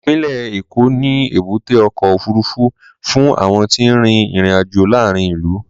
Ìpínlẹ̀ Èkó ní èbúté ọkọ̀ òfuurufú fún àwọn tí ń rin ìrìn-àjò láàárín ìlú.